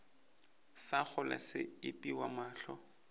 sa kgole se epiwa mohla